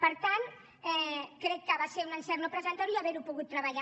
per tant crec que va ser un encert no presentar ne i haver ho pogut treballar